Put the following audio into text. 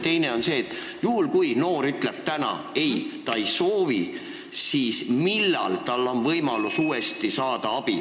Teine on see: juhul kui noor ütleb, et ta ei soovi praegu abi, siis millal on tal võimalus uuesti abi saada?